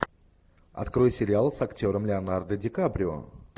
открой сериал с актером леонардо ди каприо